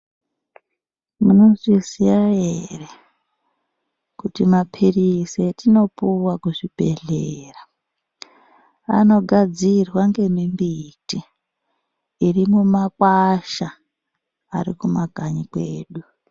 Munozviziya ere kuti mapirizi atinopuwa kuzvibhedhera anogadzirwa nemimbiti irimumakwasha kumakanyi kwedu.